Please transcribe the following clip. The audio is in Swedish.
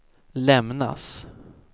lämnas